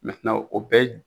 o bɛɛ